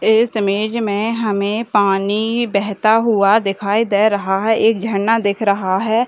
इस इमेज मे हमे पानी बहता हुआ दिखाई दे रहा है एक झरना दिख रहा है ।